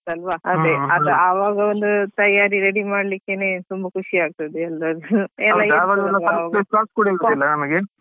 ಅದೇ ಆವಗೊಂದು ತಯಾರಿ ready ಮಾಡ್ಲಿಕ್ಕೆನೆೇ ತುಂಬಾ ಖುಷಿ ಆಗ್ತದೆ ಎಲ್ರಗೂ.